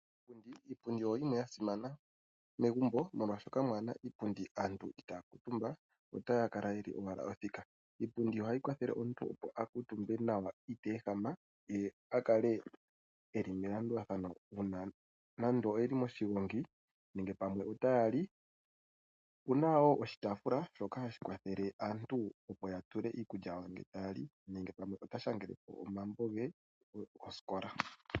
Iipundi oyasimana momagumbo, oshoka ngele kamu na iipundi aantu itaya kuutumba otaya kala owala ya thikama. Iipundi ohayi kwathele omuntu opo akuutumbe nawa iteehama ye akale eli melandulathano uuna nande oyeli moshigongi nenge taya li. Opuna oshitaafula shoka hashi kwathele aantu opo ya tule iikulya yawo ngele taya li nenge taya shangele ko omambo gosikola.